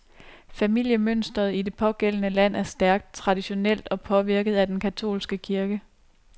Familiemønstret i det pågældende land er stærkt, traditionelt og påvirket af den katolske kirke.